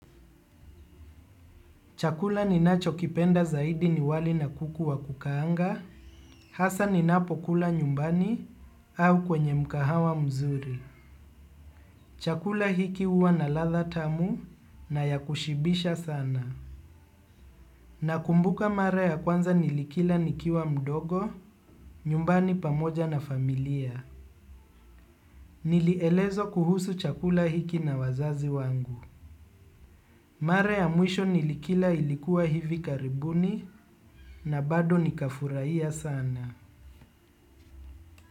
Chakula ni nacho kipenda zaidi ni wali na kuku wa kukaanga, hasa ninapo kula nyumbani au kwenye mkahawa mzuri. Chakula hiki uwa na ladha tamu na ya kushibisha sana. Na kumbuka mara ya kwanza nilikila nikiwa mdogo, nyumbani pamoja na familia. Nilielezwa kuhusu chakula hiki na wazazi wangu. Mare ya mwisho nilikila ilikuwa hivi karibuni na bado nika furahia sana.